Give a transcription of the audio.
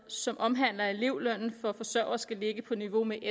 som omhandler at elevlønnen for forsørgere skal ligge på niveau med